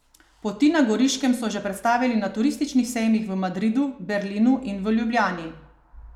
Poti na Goriškem so že predstavili na turističnih sejmih v Madridu, Berlinu in v Ljubljani.